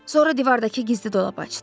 Sonra divardakı gizli dolabı açdı.